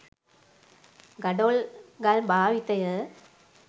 ගඩොල් ගල් භාවිතය